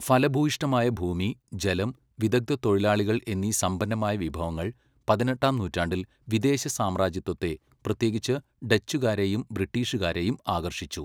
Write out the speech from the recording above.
ഫലഭൂയിഷ്ഠമായ ഭൂമി, ജലം, വിദഗ്ധ തൊഴിലാളികൾ എന്നീ സമ്പന്നമായ വിഭവങ്ങൾ പതിനെട്ടാം നൂറ്റാണ്ടിൽ വിദേശ സാമ്രാജ്യത്വത്തെ, പ്രത്യേകിച്ച് ഡച്ചുകാരെയും ബ്രിട്ടീഷുകാരെയും ആകർഷിച്ചു.